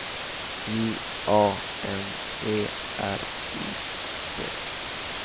J A N E R I C